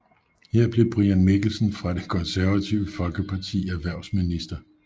Her blev Brian Mikkelsen fra Det Konservative Folkeparti erhvervsminister